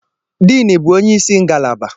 Diini bụ onyeisi ngalaba.